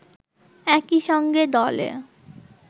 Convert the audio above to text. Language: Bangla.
একইসঙ্গে দলে